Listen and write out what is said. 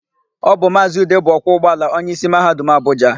Ọ bụ Maazị Ude bụ ọkwọ ụgbọala onyeisi Mahadum Abụja.